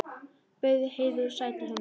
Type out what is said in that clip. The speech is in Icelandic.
Bauð Heiðu sæti hjá mér.